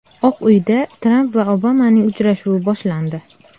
Oq Uyda Tramp va Obamaning uchrashuvi boshlandi.